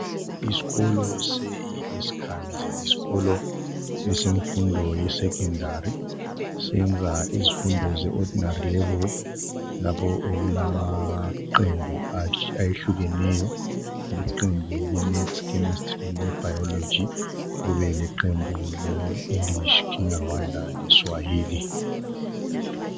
Isikolo sesi kansi Yisikolo semfundo ye secondary senza imfundo ye ordinary level lapho okulama qembu ayehlukeneyo liqembu le maths chemistry le biology kube leqembu le English Kenya Rwanda le Swahili